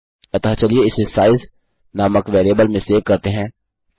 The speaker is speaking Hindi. अतः चलिए इसे साइज़ नामक वेरिएबल में सेव करते हैं